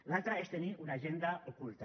l’altra és tenir una agenda oculta